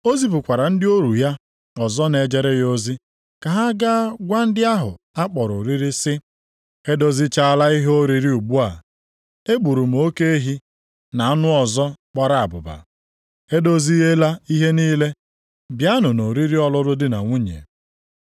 “O zipụkwara ndị ohu ya ọzọ na-ejere ya ozi ka ha gaa gwa ndị ahụ a kpọrọ oriri sị, ‘E dozichaala ihe oriri ugbu a, egburu m oke ehi, na anụ ọzọ gbara abụba. Edoziela ihe niile. Bịanụ nʼoriri ọlụlụ di na nwunye.’